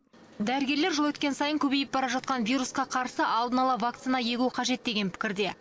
дәрігерлер жыл өткен сайын көбейіп бара жатқан вирусқа қарсы алдын ала вакцина егу қажет деген пікірде